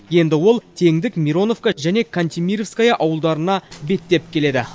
енді ол теңдік мироновка және кантемировское ауылдарына беттеп келеді